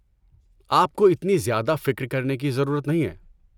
آپ کو اتنی زیادہ فکر کرنے کی ضرورت نہیں ہے۔